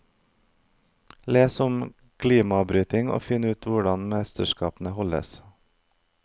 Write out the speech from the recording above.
Les om glimabryting og finn ut hvor mesterskapene holdes.